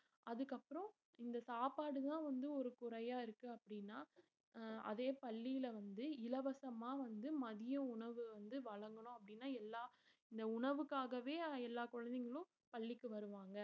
அதுக்கப்புறம் இந்த சாப்பாடுதான் வந்து ஒரு குறையா இருக்கு அப்படின்னா அஹ் அதே பள்ளியில வந்து இலவசமா வந்து மதிய உணவு வந்து வழங்கணும் அப்படின்னா எல்லாம் இந்த உணவுக்காகவே எல்லா குழந்தைங்களும் பள்ளிக்கு வருவாங்க